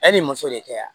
Yanni muso de kɛ yan